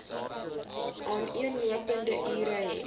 aaneenlopende ure hê